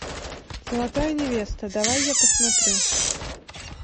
золотая невеста давай я посмотрю